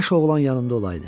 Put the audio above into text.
Kaş oğlan yanımda olaydı.